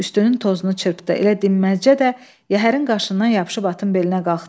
Üstünün tozunu çırpdı, elə dinməzcə də yəhərin qaşından yapışıb atın belinə qalxdı.